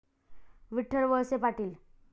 Vitthal Walse Patil